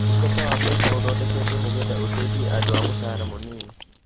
Ũtungata wa mbeca uthondeketwo nigetha uteithie andũ a mũcara mũnini